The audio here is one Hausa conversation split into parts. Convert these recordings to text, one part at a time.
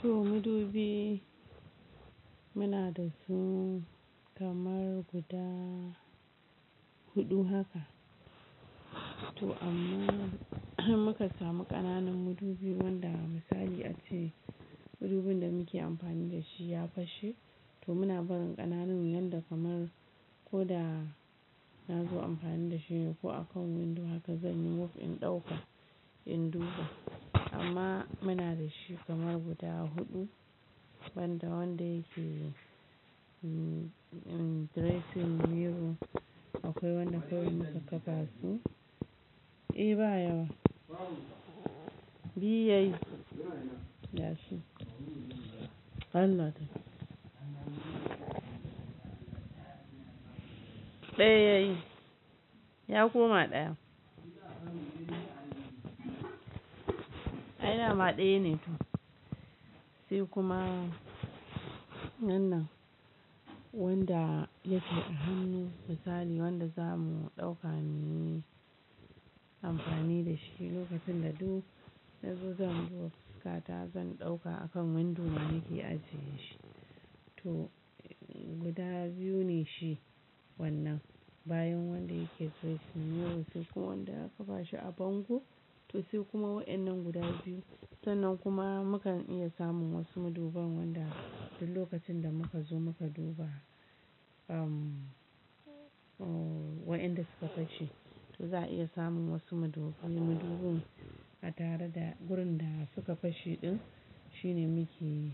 To madubi muna da su kamar guda huɗu haka. To amma har muka samu ƙananan madubi wanda misali ace madubin da muke amfani da shi ya fashe to muna barin ƙananun yanda kamar ko da na zo amfani da shi ne ko akan windo haka zan yi mafkin ɗauka in duba amma muna da shi kamar guda huɗu wanda wanda yake dressing mirror akwai wanda kawai muka kafa su. E baya wa? Biyu. Yayi Allah ɗaya yayi, ya koma ɗaya. Ai madama ɗaya ne sai kuma wannan wanda yake a hannu misali wanda zamu ɗauka muyi amfani da shi lokacin da duk na zo zan duba fuska ta zan ɗauka akan windo in da muke ajiye shi to guda biyu ne shi wannan bayan wanda yake dressing mirror sai kuma wanda aka ba shi a bango to sai kuma waɗannan guda biyu. Sannan kuma mukan iya samun wasu maduban wanda duk lokacin da muka zo muka duba, um, waɗanda suka fashe to za a iya samun wasu madubin. Madubin a tare da gurin da suka fashe ɗin shine muke,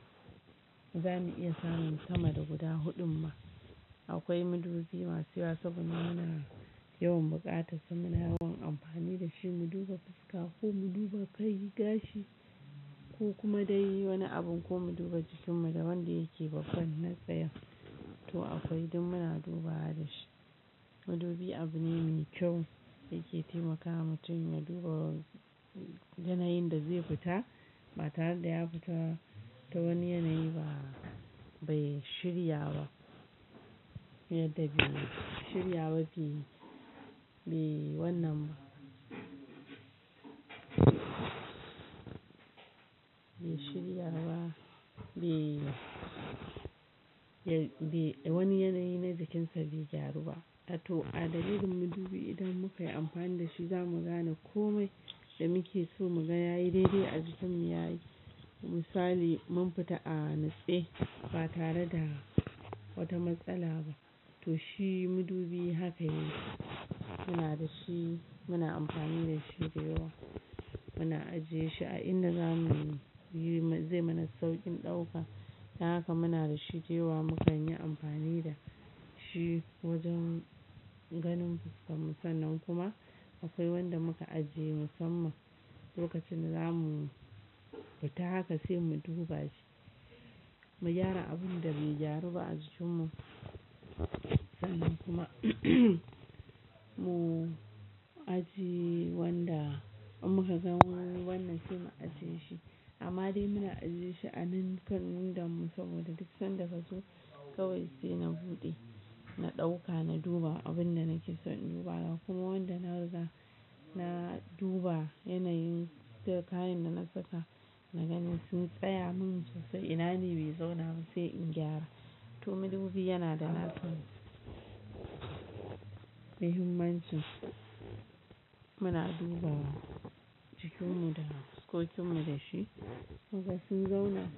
za mu iya samun kama da guda huɗun ma. Akwai madubi masu yawa saboda muna yawan buƙata saboda muna yawan amfani da shi mu duba fuska ko mu duba kai gashi ko kuma dai wani abun ko mu duba jikinmu da wanda yake bakon na tsaya to akwai duk muna duba da shi. Madubi abu ne me kyau yake taimakawa mutum ya duba yanayin da zai fita ba tare da ya fita ta wani yanayi ba bai shirya ba. Mai da bai shirya ba be wannan, be shirya ba be, be wani yanayi na jikinsa bai gyaru ba. Tato a dalilin madubi idan muka yi amfani da shi za mu gane komai da muke so mu ga yayi daidai a jikinmu yayi. Misali mun fita a natsai ba tare da wata matsala ba to shi madubi haka yake. Muna da shi muna amfani da shi da yawa muna ajiye shi a inda zamuyi, zai mana sauƙin ɗauka. Ta haka muna da shi da yawa mu kan yi amfani da shi wajen ganin fuskar mu sannan kuma akwai wanda muka ajiye musamman lokacin da zamu fita haka sai mu duba shi, mu gyara abun da bai gyaru ba a jikinmu sannan kuma mu ajiye wanda in muka gan mu wannan sai mu ajiye shi amma dai muna ajiye shi a nan kan windonmu saboda duk sanda ka zo kawai sai na buɗe na ɗauka na duba abin da nake so in duba kuma wanda nariga na duba yanayin da kayan da na saka na gani sun tsaya min ko sai ina ne bai zo na sai in gyara. To madubi yana da nasa mahimmanci muna duba jikinmu da na fuskokin mu da shi. Haka sun zauna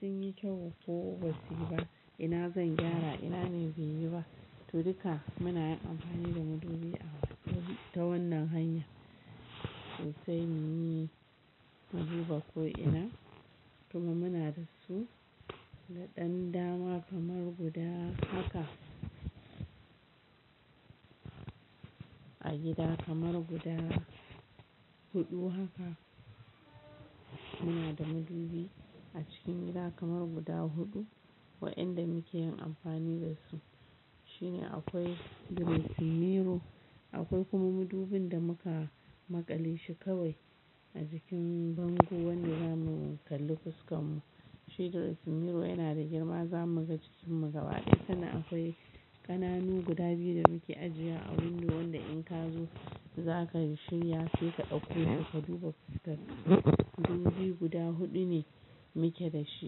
sun yi kyau ko ba sai ba ina zan gyara ina ne bai yi ba to duka muna yin amfani da madubi ta wannan hanya. To sai muyi maduba ko ina kuma muna da su na ɗan dama kamar guda haka. A gida kamar guda huɗu haka muna da madubi a cikin gida kamar guda huɗu. Waɗanda muke yin amfani da su shine akwai dressing mirror akwai kuma madubin da muka maƙale shi kawai a jikin bango wanda zamu kalli fuskar mu. Shi dressing mirror yana da girma za mu ga jikinmu gaba ɗaya sannan akwai ƙananu guda biyu da muke ajiya a windo wanda in ka zo za ka shirya sai ka ɗauko ka duba fuskar mu. Madubi guda huɗu ne muke da shi.